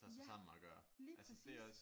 Ja lige præcis